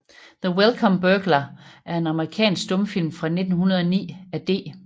The Welcome Burglar er en amerikansk stumfilm fra 1909 af D